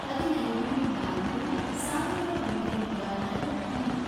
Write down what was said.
ಹದಿನೈದು, ನಾಲ್ಕು, ಸಾವಿರದ ಒಂಬೈನೂರ ನಲವತ್ಮೂರು